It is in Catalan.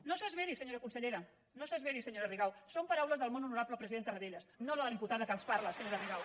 no s’esveri senyora consellera no s’esveri senyora rigau són paraules del molt honorable president tarradellas no de la diputada que els parla senyora rigau